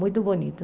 Muito bonito.